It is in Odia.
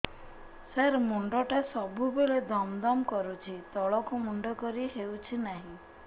ସାର ମୁଣ୍ଡ ଟା ସବୁ ବେଳେ ଦମ ଦମ କରୁଛି ତଳକୁ ମୁଣ୍ଡ କରି ହେଉଛି ନାହିଁ